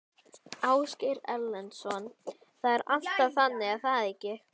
Ásgeir Erlendsson: Það er alltaf þannig er það ekki?